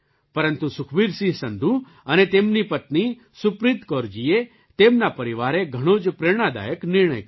પરંતુ સુખબીરસિંહ સંધૂ અને તેમની પત્ની સુપ્રીત કૌરજીએ તેમના પરિવારે ઘણો જ પ્રેરણાદાયક નિર્ણય કર્યો